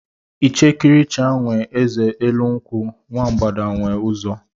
Ichekiricha nwe eze elu nkwu, nwa mbgada nwe uzo